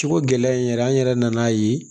Cogo gɛlɛya in yɛrɛ an yɛrɛ nan'a ye